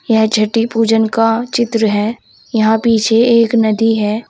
यह छठी पूजन का चित्र है यहां पीछे एक नदी है।